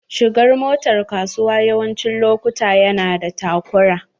Shigar motar kasuwa yawancin lokuta ya na da takura.